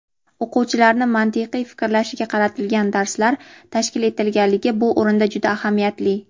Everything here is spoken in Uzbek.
o‘quvchilarni mantiqiy fikrlashiga qaratilgan darslar tashkil etilganligi bu o‘rinda juda ahamiyatli.